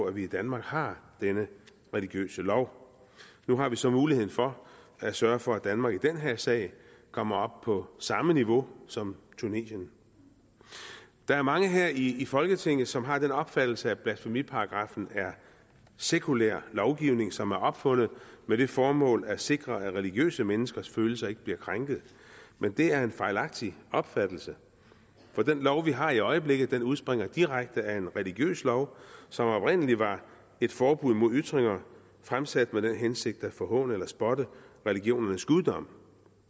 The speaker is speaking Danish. at vi i danmark har denne religiøse lov nu har vi så muligheden for at sørge for at danmark i den her sag kommer op på samme niveau som tunesien der er mange her i folketinget som har den opfattelse at blasfemiparagraffen er sekulær lovgivning som er opfundet med det formål at sikre at religiøse menneskers følelser ikke bliver krænket men det er en fejlagtig opfattelse for den lov vi har i øjeblikket udspringer direkte af en religiøs lov som oprindelig var et forbud mod ytringer fremsat med den hensigt at forhåne eller spotte religionernes guddom